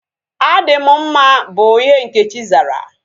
Adị m mma bụ ihe Nkechi zara